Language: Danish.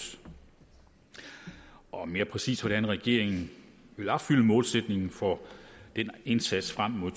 og mere præcist hvordan regeringen vil opfylde målsætningen for den indsats frem mod